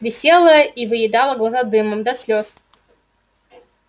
висела и выедала глаза дымом до слёз